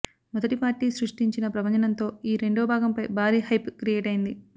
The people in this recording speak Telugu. మొదటి పార్టీ సృష్టించిన ప్రభంజనంతో ఈ రెండవ భాగంపై భారీ హైప్ క్రియేట్ అయింది